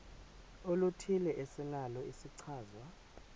oluthile esinalo isichazwa